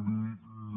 i li